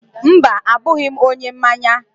Mba, abụghị m onye mmanya